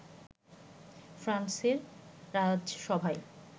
ফ্রান্সের রাজসভায়